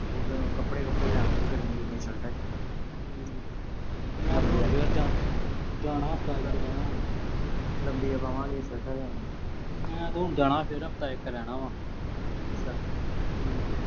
ਉਦਾਂ ਕੱਪੜੇ ਕੁਪੜੇ ਲਿਆਵਾਂਗੇ ਗਰਮੀ ਗੁਰਮੀ ਦੀਆਂ shirts ਅਹ ਜੀਆਂ। ਹੂੰ। ਜਾਣਾ ਚ ਜਾਣਾ ਆਪਾਂ । ਲੰਬੀਆਂ ਬਾਹਵਾਂ ਵਾਲੀਆਂ shirts ਲਿਆਵਾਂਗੇ। ਮੈਂ ਜਾਣਾ ਫਿਰ ਆਪਾਂ ਇੱਕ ਰਹਿਣਾ ਗਾ। ਅੱਛਾ। ਹੂੰ।